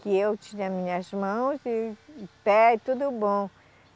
que eu tinha minhas mãos e pé tudo bom.